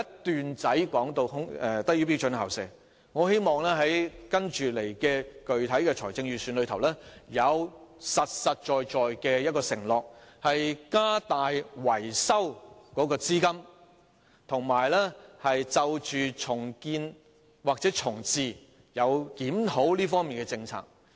施政報告有一小段提及"低於標準校舍"，我希望在接下來的財政預算案裏會有具體、實在的承諾，加大維修資金，以及檢討有關重建或重置這些學校的政策。